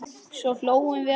Svo hlógum við allir.